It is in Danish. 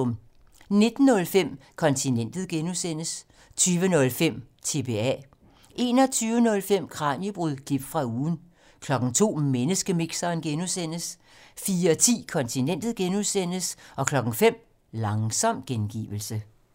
19:05: Kontinentet (G) 20:05: TBA 21:05: Kraniebrud – klip fra ugen 02:00: Menneskemixeren (G) 04:10: Kontinentet (G) 05:00: Langsom gengivelse